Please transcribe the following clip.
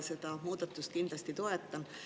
Seda muudatust ma kindlasti toetan.